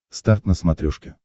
старт на смотрешке